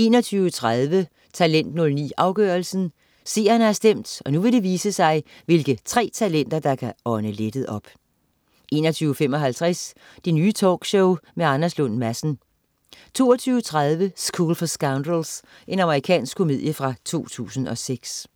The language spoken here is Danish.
21.30 Talent 09, afgørelsen. Seerne har stemt, og nu vil det vise sig, hvilke tre talenter der kan ånde lettet op 21.55 Det Nye Talkshow, med Anders Lund Madsen 22.30 School for Scoundrels. Amerikansk komedie fra 2006